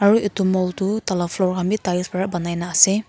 aru edu mall tu tala floor khan bi tiles pra banai na ase.